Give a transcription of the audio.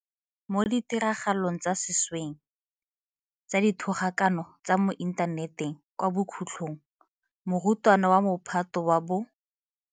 Mo ditiragalong tsa sešweng tsa dithogakano tsa mo intha neteng kwa bokhutlong morutwana wa Mophato wa bo.